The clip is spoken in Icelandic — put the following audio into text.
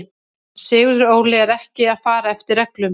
Sigurður Óli er ekki að fara eftir reglum.